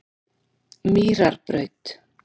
Mýrarbraut